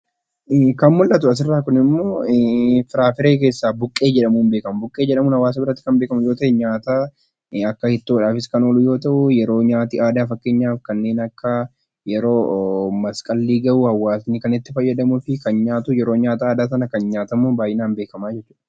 Kan mul'atu asiirraa kunimoo firaafiree 'Buqqee' jedhamuudhaan beekama. Buqqee jedhamuudhaan kan beekamu gisa nyaataa akka ittoodhaafis kan oolu yoo ta'u, yeroo nyaati aadaa fakkeenyaaf yeroo masqalli gahu hawaasni kan itti fayyadamuu fi yeroo sana baay'inaan beekama jechuudha.